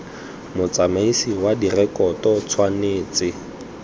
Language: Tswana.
motsamaisi wa direkoto go tshwanetse